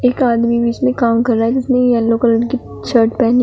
एक आदमी बीच मे काम कर रहा है जिसने येलो कलर की शर्ट पहनी--